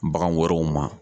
Bagan wɛrɛw ma